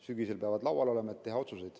Sügisel peavad need laual olema, et teha otsuseid.